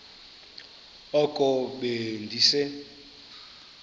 oko be ndise